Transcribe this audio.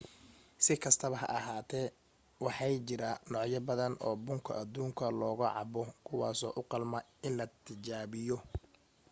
si kastaba ha ahaatee waxay jira noocyo badan oo bunka adduunka looga cabbo kuwaaso u qalma in la tijaabiyo